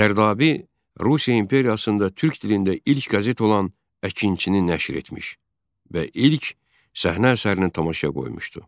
Zərdabi Rusiya imperiyasında türk dilində ilk qəzet olan Əkinçini nəşr etmiş və ilk səhnə əsərini tamaşaya qoymuşdu.